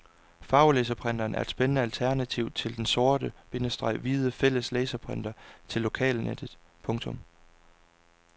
Farvelaserprinteren er et spændende alternativ til den sort- bindestreg hvide fælles laserprinter til lokalnettet. punktum